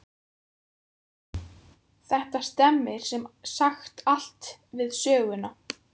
Þetta stemmir sem sagt allt við söguna.